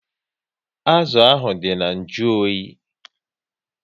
Azụ ahụ dị na nju oyi